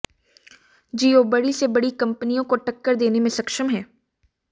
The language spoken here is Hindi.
जियो बड़ी से बड़ी कंपनियों को टक्कर देने में सक्षम है